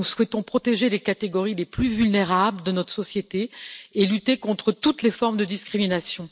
nous souhaitons protéger les catégories les plus vulnérables de notre société et lutter contre toutes les formes de discrimination.